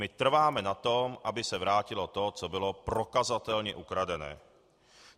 My trváme na to, aby se vrátilo to, co bylo prokazatelně ukradené.